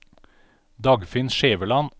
Dagfinn Skjæveland